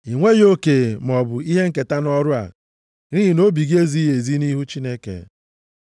I nweghị oke maọbụ ihe nketa nʼọrụ a, nʼihi na obi gị ezighị ezi nʼihu Chineke.